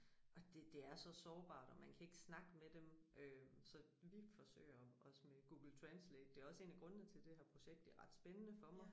Og det det er så sårbart og man kan ikke snakke med dem øh så vi forsøger os med Google translate det også en af grundene til det her projekt det ret spændende for mig